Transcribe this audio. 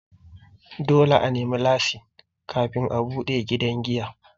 Dole a nemi lasin kafin a buɗe gidan giya.